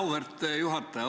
Auväärt juhataja!